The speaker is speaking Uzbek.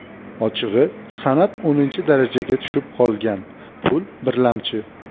Ochig‘i, san’at o‘ninchi darajaga tushib qolgan, pul birlamchi.